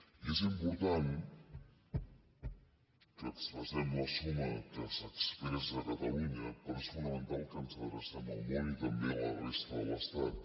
i és important que expressem la suma que s’expressa a catalunya però és fonamental que ens adrecem al món i també a la resta de l’estat